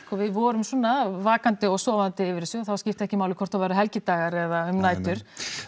og við vorum svona vakandi og sofandi yfir þessu þá skipti ekki máli hvort það voru helgidagar eða um nætur